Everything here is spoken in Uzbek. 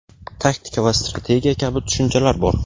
taktika va strategiya kabi tushunchalar bor.